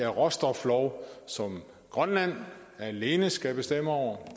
om råstoflov som grønland alene skal bestemme over